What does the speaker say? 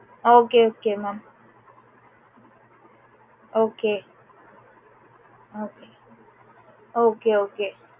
okay okay mam okay okay okay okay